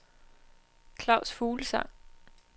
Claus Fuglsang